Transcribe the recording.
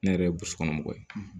Ne yɛrɛ ye burusi kɔnɔ mɔgɔ ye